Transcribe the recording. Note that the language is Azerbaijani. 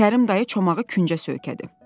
Kərim dayı çomağı küncə söykədi.